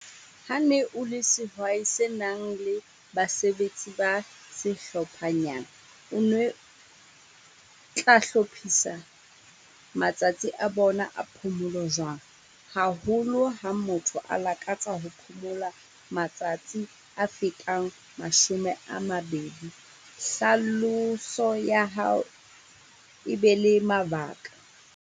Ha ne o le sehwai se nang le basebetsi ba sehlophanyana, o nwe tla hlophisa matsatsi a bona a phomolo jwang? Haholo ha motho a lakatsa ho phomola, matsatsi a fetang mashome a mabedi. Hlaloso ya hao e be le mabaka.